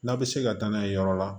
N'a bɛ se ka taa n'a ye yɔrɔ la